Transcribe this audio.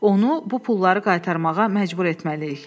Onu bu pulları qaytarmağa məcbur etməliyik.